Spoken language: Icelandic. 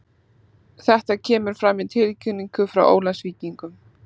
Þetta kemur fram í tilkynningu frá Ólafsvíkingum.